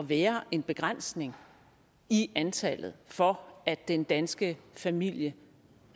være en begrænsning i antallet for at den danske familie